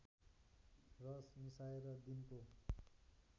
रस मिसाएर दिनको